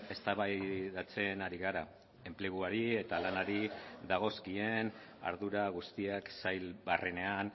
eztabaidatzen ari gara enpleguari eta lanari dagozkien ardura guztiak sail barrenean